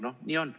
No nii on.